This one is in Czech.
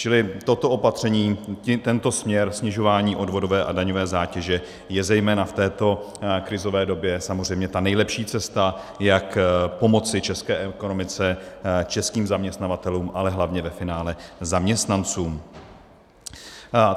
Čili toto opatření, tento směr snižování odvodové a daňové zátěže je zejména v této krizové době samozřejmě ta nejlepší cesta, jak pomoci české ekonomice, českým zaměstnavatelům, ale hlavně ve finále zaměstnancům.